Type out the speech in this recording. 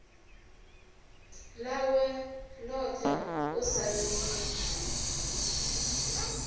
ḽawe ḽoṱhe u sa ḓivha